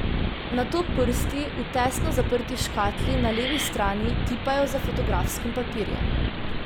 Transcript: Nato prsti v tesno zaprti škatli na levi strani tipajo za fotografskim papirjem.